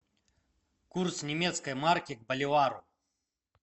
курс немецкой марки к боливару